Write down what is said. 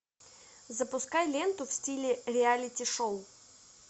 запускай ленту в стиле реалити шоу